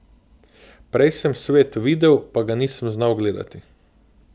Prej sem svet videl, pa ga nisem znal gledati.